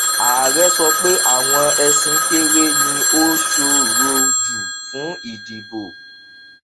ààrẹ sọ pé àwọn ẹsìn kéré ni ó ṣòro jù fún ìdìbò